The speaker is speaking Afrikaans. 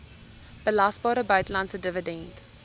belasbare buitelandse dividend